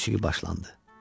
Musiqi başlandı.